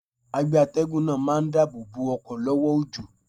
Agbe atẹ́gùn náà máa ń dáàbò bo ọkọ̀ lọ́wọ́ òjò.